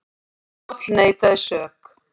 Páll neitaði sök.